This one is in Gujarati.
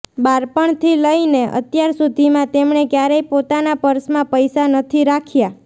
બાળપણ થી લઇને અત્યાર સુધીમાં તેમણે ક્યારેય પોતાનાં પર્સમાં પૈસા નથી રાખ્યા